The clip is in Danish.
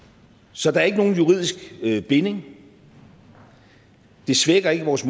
så der er ikke nogen juridisk binding det svækker ikke vores